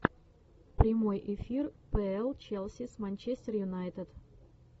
прямой эфир пл челси с манчестер юнайтед